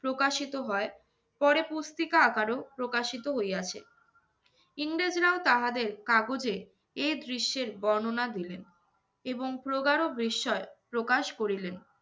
প্রকাশিত হয়। পরে পুস্তিকা আকারেও প্রকাশিত হইয়াছে। ইংরেজরাও তাহাদের কাগজে এ দৃশ্যের বর্ণনা দিলেন। এবং প্রগাঢ় বিস্ময় প্রকাশ করিলেন।